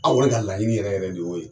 An yɛrɛ ka laɲini yɛrɛ yɛrɛ de ye o ye